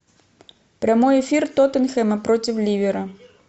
прямой эфир тоттенхэма против ливера